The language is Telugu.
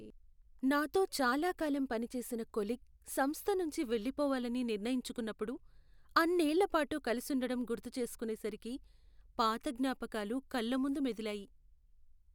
నాతో చాలాకాలం పనిచేసిన కొలీగ్ సంస్థ నుంచి వెళ్ళిపోవాలని నిర్ణయించుకున్నప్పుడు, అన్నేళ్ళ పాటు కలుసుండటం గుర్తుచేసుకునేసరికి, పాత జ్ఞాపకాలు కళ్ళ ముందు మెదిలాయి.